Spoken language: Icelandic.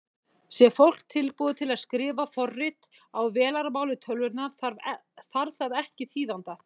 Sé fólk tilbúið til að skrifa forrit á vélarmáli tölvunnar þarf það ekki þýðanda.